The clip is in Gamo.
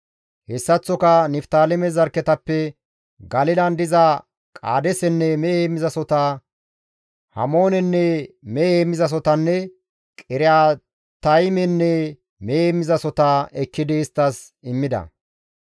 Hessaththoka Niftaaleme zarkketappe Galilan diza Qaadeesenne mehe heemmizasohota, Hamoonenne mehe heemmizasohotanne Qiriyaataymenne mehe heemmizasohota ekkidi isttas immida.